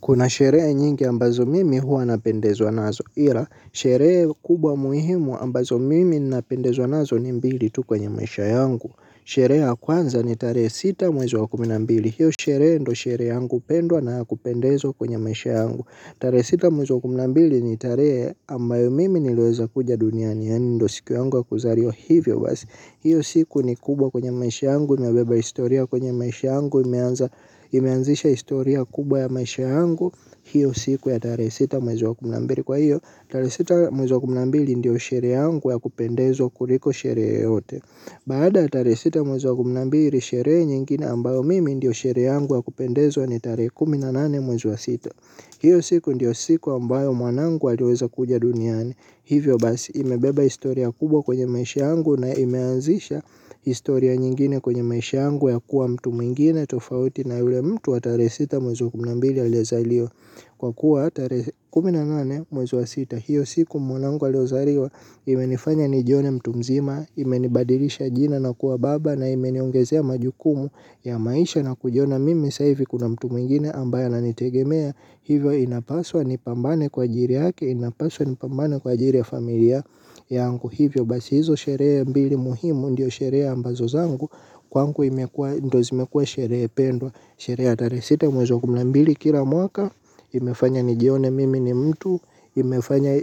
Kuna sherehe nyingi ambazo mimi huwa napendezwa nazo ila sherehe kubwa muhimu ambazo mimi napendezwa nazo ni mbili tu kwenye maisha yangu. Sherehe kwanza ni tarehe sita mwezi wa kumi na mbili hiyo sherehe ndio sherehe yangu pendwa na yakupendezwa kwenye maisha yangu. Tarehe sita mwezi wa kumi na mbili ni tarehe ambayo mimi niliweza kuja duniani. Yaani ndio siku yangu wa kuzaliwa hivyo basi hiyo siku ni kubwa kwenye maisha yangu imebeba historia kwenye maisha yangu imeanzisha historia kubwa ya maisha yangu. Hiyo siku ya tarehe sita mwezi wa kumi na mbili kwa hiyo tare sita mwezi wa kumi na mbili ndiyo sherehe yangu ya kupendezwa kuliko sherehe yeyote. Baada ya tarehe sita mwezi wa kumi na mbili sherehe nyingine ambayo mimi ndiyo sherehe yangu ya kupendezwa ni tarehe kumi na nane mwezi wa sita hiyo siku ndiyo siku ambayo mwanangu aliweza kuja duniani. Hivyo basi imebeba historia kubwa kwenye maisha yangu na imeanzisha historia nyingine kwenye maisha yangu ya kuwa mtu mwingine tofauti na yule mtu wa tarehe sita mwezi kumi na mbili aliye zaliwa. Kwa kuwa tarehe kumi na nane mwezi wa sita hiyo siku mwanangu aliozaliwa imenifanya nijione mtu mzima imenibadilisha jina na kuwa baba na imeniongezea majukumu ya maisha na kujiona mimi sasa hivi kuna mtu mwingine ambaye ana nitegemea hivyo inapaswa ni pambane kwa ajili yake inapaswa ni pambane kwa ajili ya familia yangu hivyo basi hizo sherehe mbili muhimu ndio sherehe ambazo zangu kwangu imekua ndo zimekua sherehe pendwa sherehe ya tarehei sita mwezi kumi na mbili kila mwaka. Imefanya nijione mimi ni mtu. Imefanya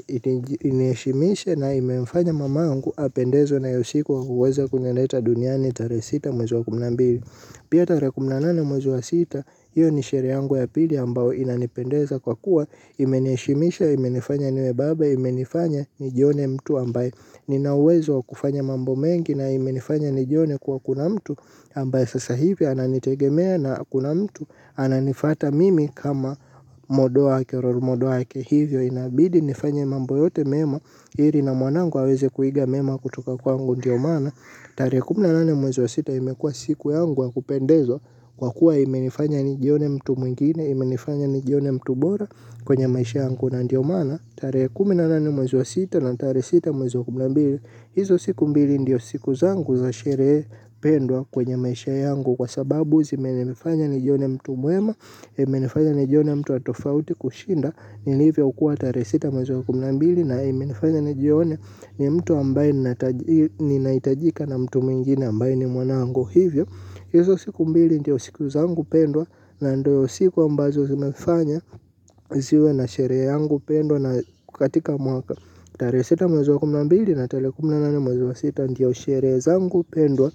iniheshimishe na imemfanya mamangu apendezwe nayo siku aloweza kunileta duniani tarehe sita mwezi kumi na mbili. Pia tarehe kumi na nane mwezi wa sita io ni shere yangu ya pili ambayo inanipendeza kwa kuwa imeniheshimisha, imenifanya niwe baba, imenifanya nijione mtu ambaye ninawezo wa kufanya mambo mengi na imenifanya nijione kuwa kuna mtu ambaye sasa hivi ananitegemea na kuna mtu ananifata mimi kama model wake role modol wake hivyo inabidi nifanye mambo yote mema ili na mwanangu aweze kuiga mema kutoka kwangu ndio maana tarehe kumi na nane mwezi sita imekua siku yangu ya kupendezwa kwa kuwa imenifanya nijione mtu mwingine imenifanya nijione mtu bora kwenye maisha yangu na ndio maana tarehe kumi na nane mwezi wa sita na tarehe sita mwezi kumi na mbili hizo siku mbili ndiyo siku zangu za sherehe pendwa kwenye maisha yangu kwa sababu zimenenifanya nijione mtu mwema. Imenifanya nijione mtu wa tofauti kushinda nilivyo kuwa tarehe sita mwezi wa kumi na mbili na imenifanya nijione ni mtu ambaye nina ninaitajika na mtu mwingine ambaye ni mwanangu hivyo hizo siku mbili ndiyo siku zangu pendwa na ndio siku ambazo zimefanya ziwe na sherehe yangu pendwa na katika mwaka. Tarehe sita mwezi wa kumi na mbili na terehe kumi na nane mwezi wa sita ndiyo sherehe zangu pendwa.